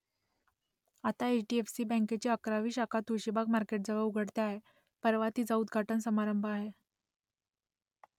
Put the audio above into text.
आता H D F C बँकेची अकरावी शाखा तुळशीबाग मार्केटजवळ उघडते आहे परवा तिचा उद्घाटन समारंभ आहे